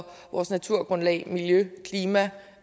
vores naturgrundlag miljø og klima